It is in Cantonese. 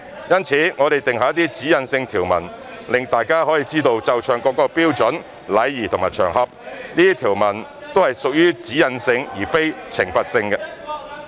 因此，我們定下一些指引性條文，讓大家知道奏唱國歌的標準、禮儀和場合，這些條文都是屬於"指引性"而非懲罰性。